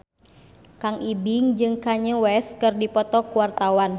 Kang Ibing jeung Kanye West keur dipoto ku wartawan